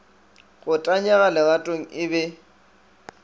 go tanyega leratong e be